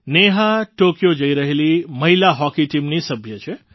Neha Tokyo જઈ રહેલી મહિલા હૉકી ટીમની સભ્ય છે